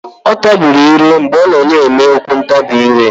Ọ tabiri ire mgbe ọ na-eme okwu ntabi ire.